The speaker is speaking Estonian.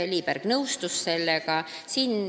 Lii Pärg nõustus sellega.